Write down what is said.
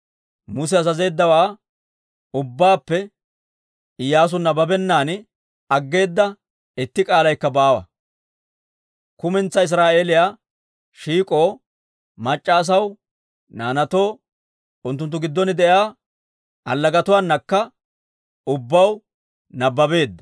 Muse azazeeddawaa ubbaappe Iyyaasu nabbabennan aggeeda itti k'aalaykka baawa. Kumentsaa Israa'eeliyaa shiik'oo, mac'c'a asaw, naanaatoo, unttunttu giddon de'iyaa allagatuwaanakka ubbaw nabbabeedda.